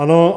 Ano.